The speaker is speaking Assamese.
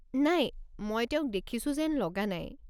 নাই, মই তেওঁক দেখিছোঁ যেন লগা নাই।